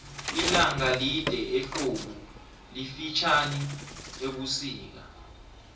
ilanga lide ehlobu lifitjhani ebusika